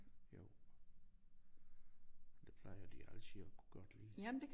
Jo og det plejer de altid at kunne godt lide